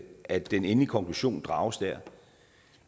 at den endelige konklusion drages der